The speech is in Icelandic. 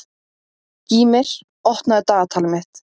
Gýmir, opnaðu dagatalið mitt.